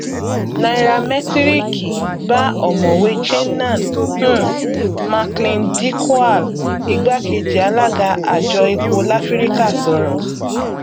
nairamẹtíríkì bá ọmọwé chinnan um macleandikwal igbákejì alága àjọ epo láfíríkà sọrọ